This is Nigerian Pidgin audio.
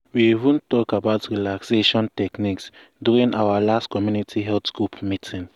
we even talk about relaxation techniques during our last community health group meeting.